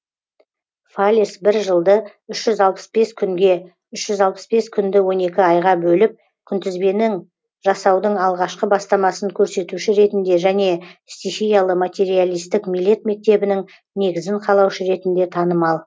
фалес бір жылды үш жүз алпыс бес күнге үш жүз алпыс бес күнді он екі айға бөліп күнтізбенің жасаудың алғашқы бастамасын көрсетуші ретінде және стихиялы материалистік милет мектебінің негізін қалаушы ретінде танымал